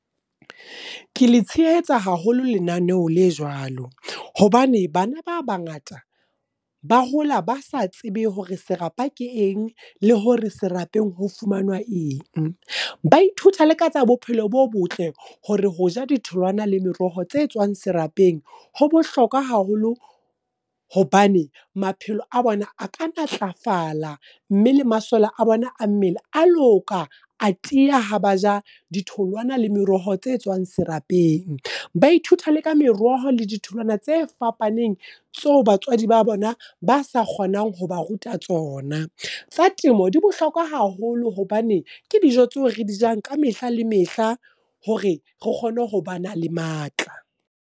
Ke le tshehetsa haholo lenaneho le jwalo. Hobane bana ba bangata, ba hola ba sa tsebe hore serapa ke eng, le hore serapeng fumanwa eng. Ba ithuta le ka tsa bophelo bo botle, hore ho ja di tholwana le meroho tse tswang serapeng ho bohlokwa haholo. Hobane maphelo a bona a ka matlafala, mme le masole a bona a mmele a loka, a tiya ha ba ja ditholwana le meroho tse tswang serapeng. Ba ithuta le ka meroho le ditholwana tse fapaneng tseo batswadi ba bona ba sa kgonang ho ba ruta tsona. Tsa temo di bohlokwa haholo hobane ke dijo tseo re di jang ka mehla le mehla, hore re kgone ho ba na le matla.